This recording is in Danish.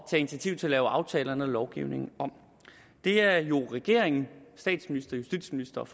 initiativ til at lave aftalerne og lovgivningen om det er jo regeringen statsministeren justitsministeren